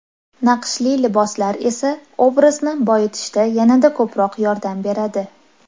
Naqshli liboslar esa obrazni boyitishda yanada ko‘proq yordam beradi.